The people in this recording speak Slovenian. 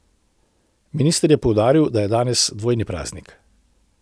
Minister je poudaril, da je danes dvojni praznik.